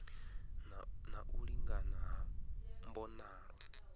na u lingana ha mbonalo